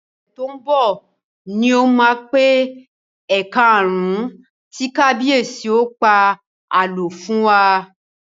Ọ̀sẹ̀ tó ń bọ̀ ni ó máa pé ẹ̀kaàrún tí kábíyèsí ó pa àlọ́ fún wa